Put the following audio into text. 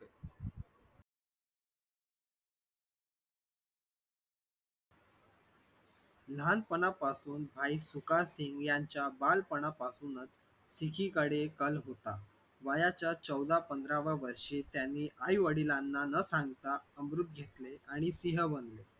लहानपणापासून भाई सुखसिंग यांच्या बालपणापासूनच तिच्याकडे कल होता वयाच्या चौदाव्या पंधराव्या वर्षी त्यांनी आई वडिलांना न सांगता अमृत घेतले आणि सिंह बनले.